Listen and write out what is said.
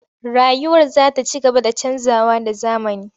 Rayuwar za ta ci gaba da canjawa da zamani.